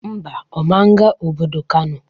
Ḿbà, Ọ man ga obodo Kano